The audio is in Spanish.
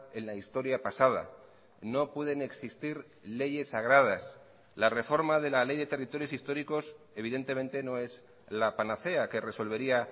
en la historia pasada no pueden existir leyes sagradas la reforma de la ley de territorios históricos evidentemente no es la panacea que resolvería